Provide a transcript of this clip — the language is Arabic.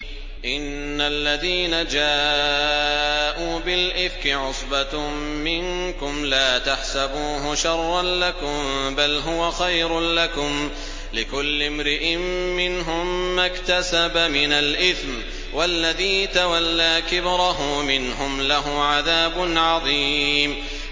إِنَّ الَّذِينَ جَاءُوا بِالْإِفْكِ عُصْبَةٌ مِّنكُمْ ۚ لَا تَحْسَبُوهُ شَرًّا لَّكُم ۖ بَلْ هُوَ خَيْرٌ لَّكُمْ ۚ لِكُلِّ امْرِئٍ مِّنْهُم مَّا اكْتَسَبَ مِنَ الْإِثْمِ ۚ وَالَّذِي تَوَلَّىٰ كِبْرَهُ مِنْهُمْ لَهُ عَذَابٌ عَظِيمٌ